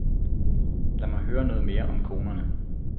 Lad mig høre noget mere om konerne.